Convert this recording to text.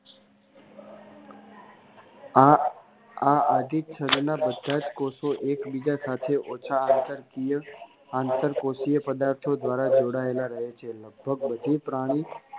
આ અભિચ્છદ ના બધા જ કોષો એકબીજા સાથે ઓછા અંતરકીય આંતરકોષીય પદાર્થો દ્વારા જોડાયેલા રહે છે લગભગ વધુ પ્રાણી